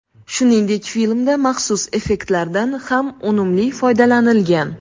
Shuningdek, filmda maxsus effektlardan ham unumli foydalanilgan.